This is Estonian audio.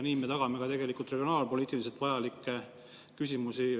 Nii me lahendame ka regionaalpoliitiliselt vajalikke küsimusi.